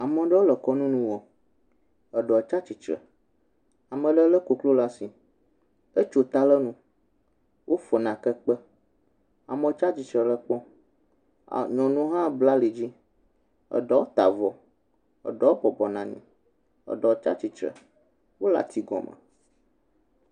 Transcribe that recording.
Ame aɖewo le kɔnu nu wɔm. Eɖewo tsi atsitre. Ame aɖewo le koklo ɖe asi. Etso ta le enu. Wofɔ nake kpe. Amewo tsi atsitre le ekpɔm. Nyɔnu hã bla ali dzi eɖewo ta avɔ, eɖewo hã bɔbɔnɔ anyi, eɖewo tsi atistre wole atsi kɔm.